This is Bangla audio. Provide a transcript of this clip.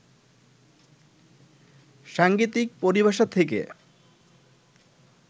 সাংগীতিক পরিভাষা থেকে